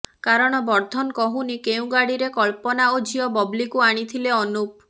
କାରଣ ବର୍ଦ୍ଧନ କହୁନି କେଉଁ ଗାଡ଼ିରେ କଳ୍ପନା ଓ ଝିଅ ବବ୍ଲିକୁ ଆଣିଥିଲେ ଅନୁପ